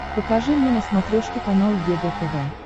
покажи мне на смотрешке канал егэ тв